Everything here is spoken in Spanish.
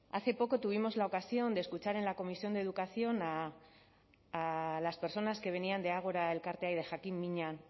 hace poco tuvimos la ocasión de escuchar en la comisión de educación a las personas que venían de agora elkartea de jakin mina